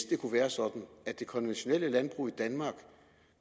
det kunne være sådan at det konventionelle landbrug i danmark